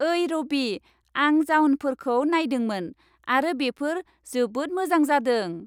ओइ रबि, आं जाउनफोरखौ नायदोंमोन आरो बेफोर जोबोद मोजां जादों।